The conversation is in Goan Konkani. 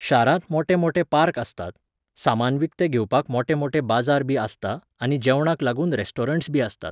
शारांत मोटे मोटे पार्क आसतात, सामान विकतें घेवपाक मोटे मोटे बाजार बी आसता आनी जेवणाक लागून रेस्टोरंट्स बी आसतात.